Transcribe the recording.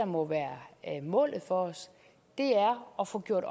må være målet for os er at få gjort